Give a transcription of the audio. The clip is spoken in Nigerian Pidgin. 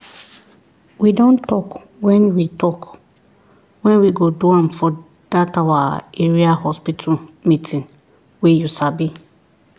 we don talk when we talk when we go do am for that our area hospital meeting wey you sabi